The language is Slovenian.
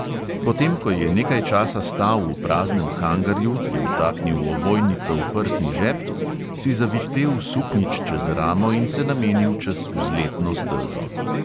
Potem ko je nekaj časa stal v praznem hangarju, je vtaknil ovojnico v prsni žep, si zavihtel suknjič čez ramo in se namenil čez vzletno stezo.